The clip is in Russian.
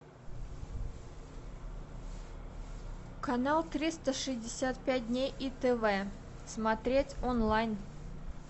канал триста шестьдесят пять дней и тв смотреть онлайн